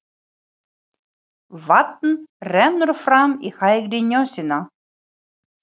Vatn rennur fram í hægri nösina.